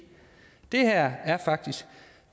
det her faktisk